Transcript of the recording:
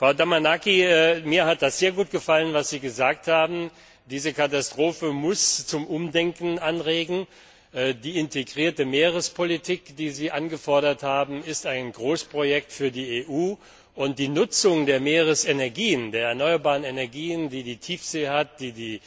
Frau Damanaki, mir hat sehr gut gefallen, was Sie gesagt haben Diese Katastrophe muss zum Umdenken anregen. Die integrierte Meerespolitik, die Sie eingefordert haben, ist ein Großprojekt für die EU, und die Nutzung der Meeresenergien der erneuerbaren Energien, die die Tiefsee hat, die die